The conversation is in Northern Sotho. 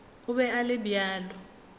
o be a le bjalo